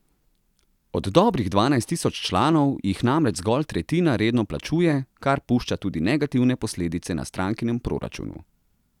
Od dobrih dvanajst tisoč članov, jih namreč zgolj tretjina redno plačuje, kar pušča tudi negativne posledice na strankinem proračunu.